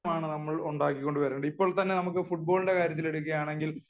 ആണ് നമ്മൾ ഉണ്ടാക്കി കൊണ്ടുവരേണ്ടത് . ഇപ്പോൾ തന്നെ ഫുട്ബാളിന്റെ കാര്യം എടുക്കുകയാണെങ്കിൽ